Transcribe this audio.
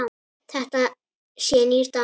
Þetta sé nýr dans.